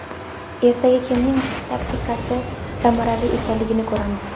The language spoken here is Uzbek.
Ertaga kimning taktikasi samarali ekanligini ko‘ramiz.